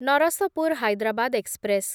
Narasapur Hyderabad express